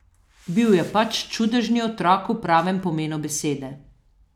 Bil je pač čudežni otrok v pravem pomenu besede.